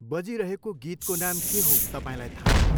बजिरहेको गीतको नाम के हो तपाईँलाई थाहा छ?